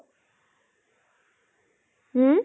হু?